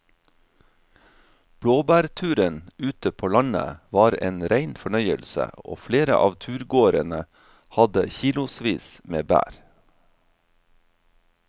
Blåbærturen ute på landet var en rein fornøyelse og flere av turgåerene hadde kilosvis med bær.